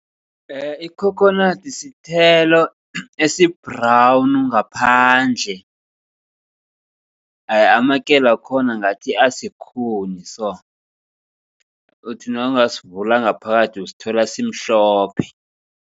Ikhokhonadi sithelo esi-brown ngaphandle. Amakelo wakhona ngathi asikhuni so. Uthi nawungasivula ngaphakathi uyosithola simhlophe.